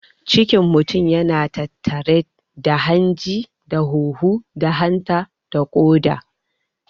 Cikin mutun yana tattare da hanji da huhu da hanta da ƙoda.